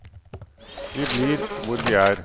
Vi blir hvor vi er.